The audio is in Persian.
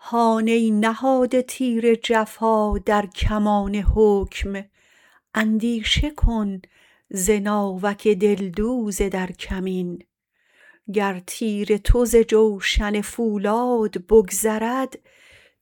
هان ای نهاده تیر جفا در کمان حکم اندیشه کن ز ناوک دلدوز در کمین گر تیر تو ز جوشن فولاد بگذرد